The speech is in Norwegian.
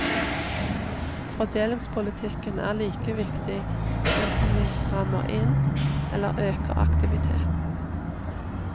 Fordelingspolitikken er like viktig enten vi strammer inn eller øker aktiviteten.